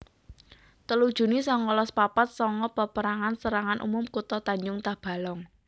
telu juni sangalas papat sanga Paperangan Serangan Umum Kutha Tanjung Tabalong